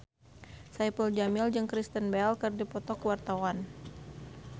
Saipul Jamil jeung Kristen Bell keur dipoto ku wartawan